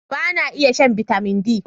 Ba na iya shan Bitamin D.